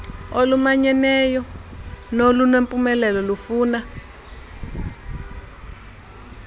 olumanyeneyo nolunempumelelo lufuna